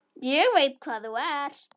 Ég veit hvað þú ert.